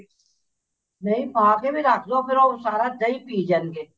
ਨਹੀਂ ਪਾ ਕੇ ਵੀ ਰੱਖ ਲੋ ਫ਼ੇਰ ਉਹ ਸਾਰਾ ਦਹੀਂ ਪਈ ਜਾਣਗੇ